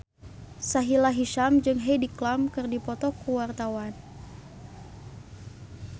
Sahila Hisyam jeung Heidi Klum keur dipoto ku wartawan